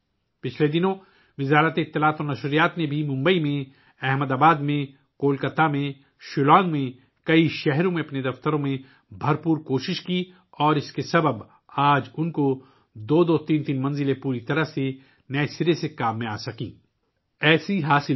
ماضی میں وزارت اطلاعات و نشریات نے ممبئی، احمد آباد، کولکاتہ، شیلانگ سمیت کئی شہروں میں اپنے دفاتر میں بھی بہت کوشش کی اور اسی کی وجہ سے آج ان کے پاس دو دو ، تین تین منزلیں پوری طرح سے نئے کام میں لی جا سکتی ہیں